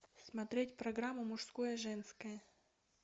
смотреть программу мужское женское